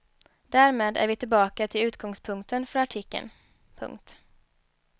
Därmed är vi tillbaka till utgångspunkten för artikeln. punkt